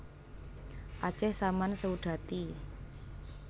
Aceh Saman Seudati